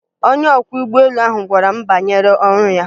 Onye ọkwọ ụgbọelu ahụ gwara m banyere ọrụ ya